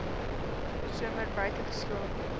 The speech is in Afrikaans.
somer buite geslaap